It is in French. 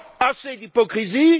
Assez d'hypocrisie!